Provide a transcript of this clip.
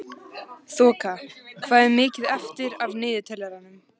Þoka, hvað er mikið eftir af niðurteljaranum?